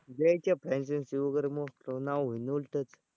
द्यायची आहे franchise वगैरे